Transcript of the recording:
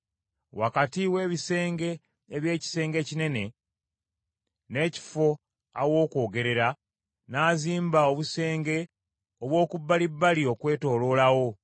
Wakati w’ebisenge eby’ekisenge ekinene, n’ekifo aw’okwogerera, n’azimba obusenge obw’okubbalibbali okwetooloola wo.